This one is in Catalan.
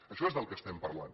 d’això és del estem parlant